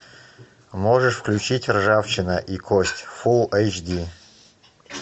можешь включить ржавчина и кость фулл эйч ди